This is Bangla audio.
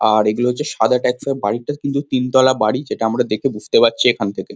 আর এইগুলো হচ্ছে সাদা তিনতলা বাড়ি যেটা আমরা বুঝতে পারছি এখন থেকে।